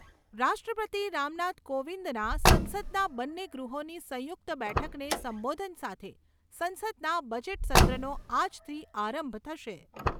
રાષ્ટ્રપતિ રામનાથ કોવિંદના સંસદનાં બંન્ને ગૃહોની સંયુક્ત બેઠકને સંબોધન સાથે સંસદના બજેટસત્રનો આજથી આરંભ થશે.